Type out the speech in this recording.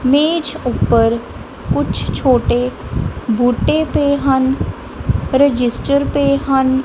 ਮੇਜ ਉੱਪਰ ਕੁਝ ਛੋਟੇ ਬੂਟੇ ਪਏ ਹਨ ਰਜਿਸਟਰ ਪਏ ਹਨ।